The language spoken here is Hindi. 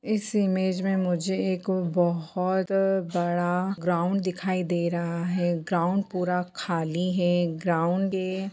इस इमेज में मुझे एक बोहोत बड़ा ग्राउड़ दिखाई दे रहा है ग्राउड़ पूरा खाली है ग्राउड़ --